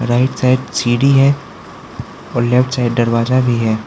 Right side सीढ़ी है और लेफ्ट साइड दरवाजा भी है।